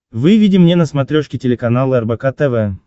выведи мне на смотрешке телеканал рбк тв